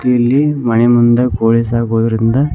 ಇಲ್ಲಿ ಮನೆ ಮುಂದೆ ಕೋಳಿ ಸಾಕೊದರಿಂಧ--